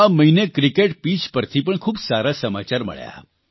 આ મહિને cricket pitch પરથી પણ ખૂબ સારા સમાચાર મળ્યા